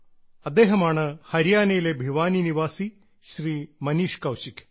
അദ്ദേഹമാണ് ഹരിയാനയിലെ ഭിവാനി നിവാസി ശ്രീ മനീഷ് കൌശിക്